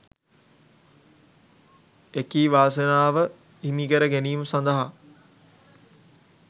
එකී වාසනාව හිමිකර ගැනීම සඳහා